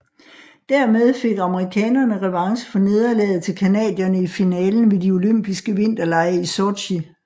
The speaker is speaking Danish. Dermed fik amerikanerne revanche for nederlagdet til canadierne i finalen ved de olympiske vinterlege i Sotji